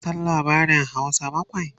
ka San labarin Hausa bakwai?